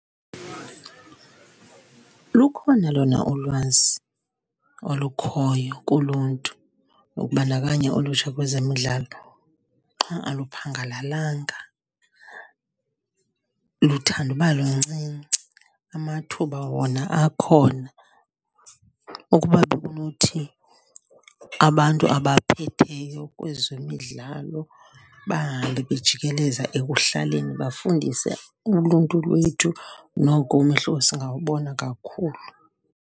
Lukhona lona ulwazi olukhoyo kuluntu ukubandakanya ulutsha kwezemidlalo qha aluphangalalanga, luthande uba luncinci, amathuba wona akhona. Ukuba bekunothi abantu abaphetheyo kwezemidlalo bahambe bejikeleza ekuhlaleni bafundise uluntu lwethu, noko umehluko singawubona kakhulu.